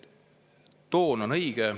Toon on õige.